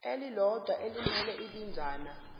elilodwa elimele ibinzana